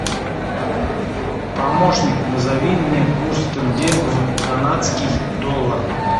помощник назови мне курс тенге в канадский доллар